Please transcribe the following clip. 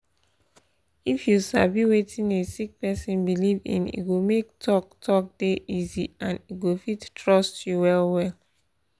if you sabi wetin a sick person believe in e go make talk talk dey easy and e go fit trust you well well